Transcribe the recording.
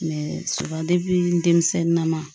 denmisɛnnin na ma